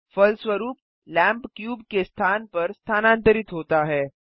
फलस्वरूप lamp cube के स्थान पर स्थानांतरित होता है